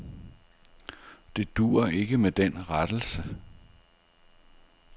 Det duer ikke med den rettelse.